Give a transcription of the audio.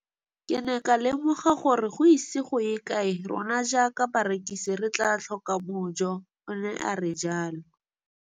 Ke ne ka lemoga gore go ise go ye kae rona jaaka barekise re tla tlhoka mojo, o ne a re jalo.